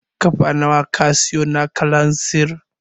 Lita nawa ka sayo na kalanzir?